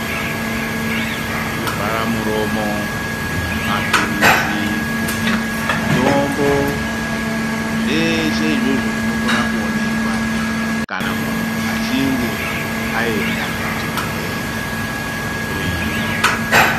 Zvivhara muromo, mapilizi, mitombo, zveshe izvozvo zvinokona kuonekwa kana muntu achinge ayenda kuchibhedhlera kundohloyiwa.